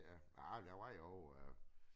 Ja ej der var jo øh